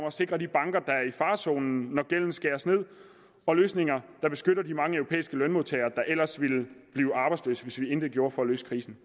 at sikre de banker der er i farezonen når gælden skæres ned og løsninger der beskytter de mange europæiske lønmodtagere der ellers ville blive arbejdsløse hvis vi intet gjorde for at løse krisen